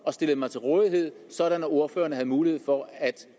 stillet mig til rådighed sådan at ordførerne havde mulighed for at